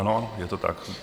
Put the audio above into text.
Ano, je to tak.